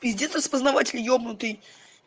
пиздец распознаватель ёбнутый